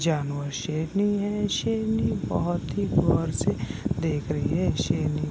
जानवर शेरनी है शेरनी बहुत ही गौर से देख रही है शेरनी --